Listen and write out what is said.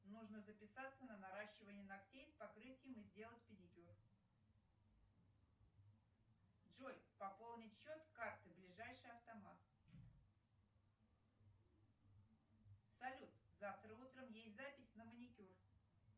нужно записаться на наращивание ногтей с покрытием и сделать педикюр джой пополнить счет карты ближайший автомат салют завтра утром есть запись на маникюр